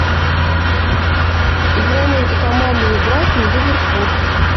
игра между командами брайтон ливерпуль